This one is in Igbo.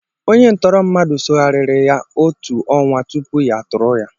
Onye ntọrọ mmadụ soghariri ya otu ọnwa tupu ya atụrụ ya.